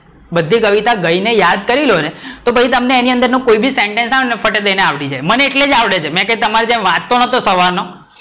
બધી કવિતા ગઈ ને યાદ કરી લો, તો પછી તમને અને અંદર નું કોઈ બી sentense આવે તો ફટ દઈ ને આવડી જાય, તે મને એટલે જ આવડે છે મેં કઈ તમારી જે વાંચતો નોતો સવારે,